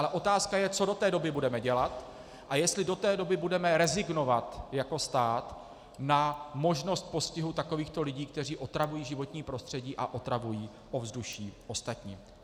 Ale otázka je, co do té doby budeme dělat a jestli do té doby budeme rezignovat jako stát na možnost postihu takovýchto lidí, kteří otravují životní prostředí a otravují ovzduší ostatním.